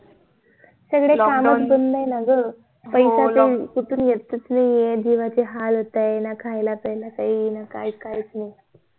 सगळे काम च बंद ये ना ग पैसा कुठून येत च नि ये जीवाचे हाल होतायेत ना खायला प्यायला काही ना काय काही काहीच नई